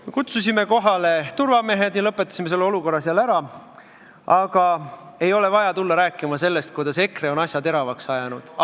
Me kutsusime kohale turvamehed ja lõpetasime selle olukorra ära, aga ei ole vaja tulla rääkima sellest, kuidas EKRE on asja teravaks ajanud.